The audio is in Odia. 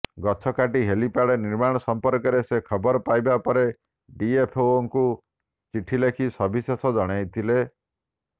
ଗଛ କାଟି ହେଲିପ୍ୟାଡ୍ ନିର୍ମାଣ ସଂପର୍କରେ ସେ ଖବର ପାଇବା ପରେ ଡିଏଫଓଙ୍କୁ ଚିଠି ଲେଖି ସବିଶେଷ ଜଣାଇଥିଲେ